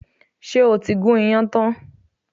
Ṣé o ti gún iyán tán?